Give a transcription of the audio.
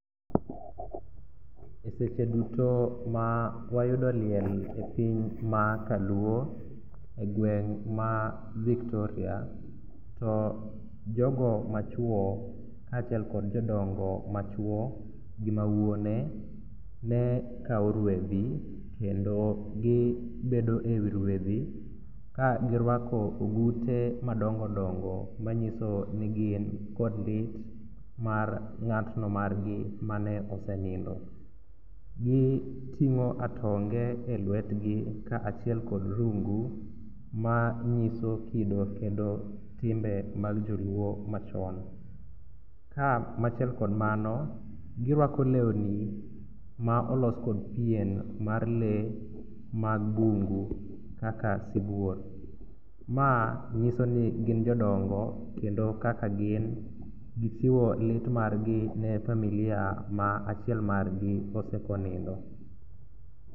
E seche duto ma wayudo liel e piny makaluo e gweng' ma Victoria to jogo machwo kaachiel kod jodongo machwo gi mawuone ne kawo ruedhi kendo gibedo e wi ruedhi kagirwako ogute madongodongo manyiso ni gin kod lit mar ng'atno margi mane osenindo. Giting'o atonge e lwetgi kaachiel kod rungu manyiso kido kendo timbe mag joluo machon. Ka machiel kod mano, girwako lewni ma olos kod pien mar lee mag bungu kaka sibuor, ma ng'iso ni gin jodongo kendo kaka gin gichiwo lit margi ne familia ma achiel margi osekonindo.